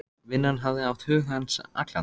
Vinnan hafði átt hug hans allan.